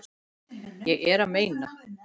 Ég er að meina.